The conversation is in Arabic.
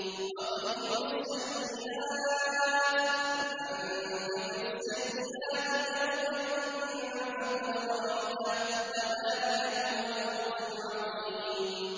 وَقِهِمُ السَّيِّئَاتِ ۚ وَمَن تَقِ السَّيِّئَاتِ يَوْمَئِذٍ فَقَدْ رَحِمْتَهُ ۚ وَذَٰلِكَ هُوَ الْفَوْزُ الْعَظِيمُ